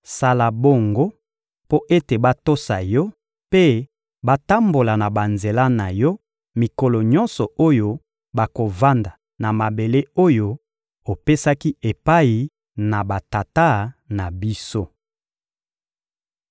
Sala bongo mpo ete batosa Yo mpe batambola na banzela na Yo mikolo nyonso oyo bakovanda na mabele oyo opesaki epai na batata na biso.